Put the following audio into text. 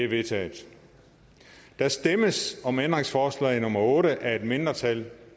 vedtaget der stemmes om ændringsforslag nummer otte af et mindretal